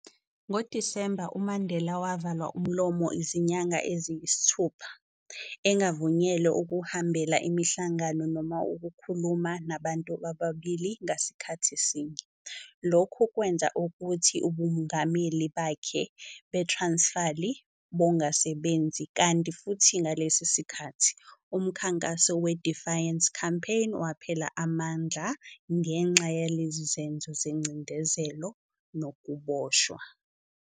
NgoDisemba, uMandela wavalwa umlomo izinyanga eziyisithupha, engavunyelwe ukuhambela imihlangano noma ukukhuluma nabantu ababili ngasikhathi sinye, lokhu kwenza ukuthi ubungameli bakhe beTransfali bongasebenzi, kanti futhi ngalesi sikhathi, uMkhankaso we-Defiance Campaign waphela amandla ngenxa yalezi zenzo zencindezelo nokuboshwa.